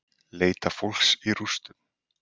Leita fólks í rústum